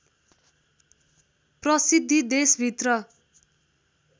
प्रसिद्धि देशभित्र